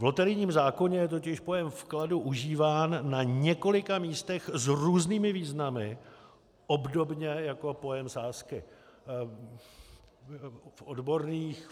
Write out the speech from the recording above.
V loterijním zákoně je totiž pojem vkladu užíván na několika místech s různými významy, obdobně jako pojem sázky.